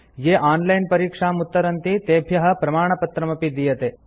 ये ऑनलाइन परीक्षाम् उत्तरन्ति तेभ्यः प्रमाणपत्रमपि दीयते